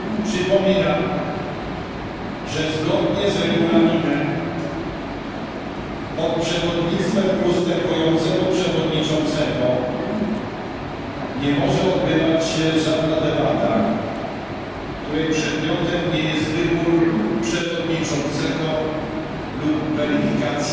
Przypominam, że zgodnie z Regulaminem pod przewodnictwem ustępującego przewodniczącego nie może odbywać się żadna debata, której przedmiotem nie jest wybór przewodniczącego lub weryfikacja